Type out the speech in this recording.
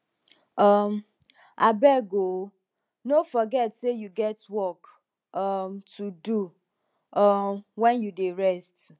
um abeg o o no forget sey you get work um to do um wen you dey rest